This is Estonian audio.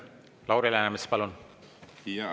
Lauri Läänemets, palun!